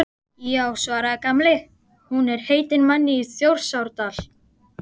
Já svaraði Gamli, hún er heitin manni í Þjórsárdal